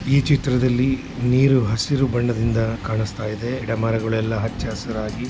ಈ ಚಿತ್ರದಲ್ಲಿ ನೀರು ಹಸಿರು ಬಣ್ಣದಿಂದ ಕಾಣಿಸುತ್ತಿದೆ ಗಿಡಮರಗಳೆಲ್ಲಾ ಹಚ್ಚಹಸುರಾಗಿ--